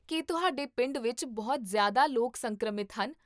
ਕੀ ਤੁਹਾਡੇ ਪਿੰਡ ਵਿੱਚ ਬਹੁਤ ਜ਼ਿਆਦਾ ਲੋਕ ਸੰਕਰਮਿਤ ਹਨ?